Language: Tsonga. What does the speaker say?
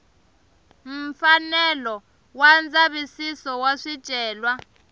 mfanelo wa ndzavisiso wa swicelwa